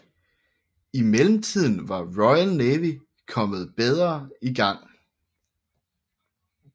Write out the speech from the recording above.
I mellemtiden var Royal Navy kommet bedre i gang